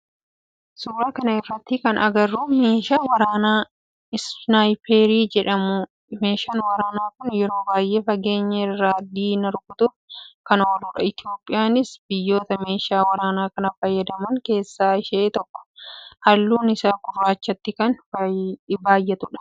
suuraa kana irratti kan agarru meeshaa waraanaa isnaayiparii jedhamudha. meeshaan waraanaa kun yeroo baayyee fageenya irra diina rukutuuf kan ooludha. Itiyoophiyaanis biyyoota meeshaa waraanaa kana fayyadaman keessaa ishee tokkoo. halluun isaa gurraachatti kan baayyatudha.